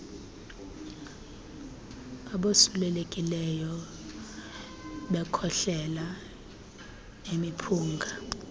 abosulelekileyo bekhohlela ngemiphunga